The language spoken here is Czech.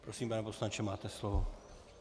Prosím, pane poslanče, máte slovo.